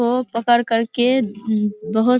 को पकड़ करके बहुत --